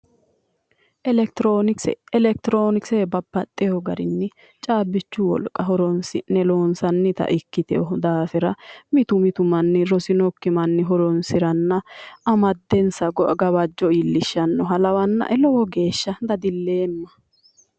Elekitroonikise Elekitroonikise babbaxxewo garinni caabbichu wolqa horonsi'ne loonsannita ikkitewo daafira mitu mitu manni horoonsiranna amaddensa gawajjo iillishshannoha lawannae dadilleemma.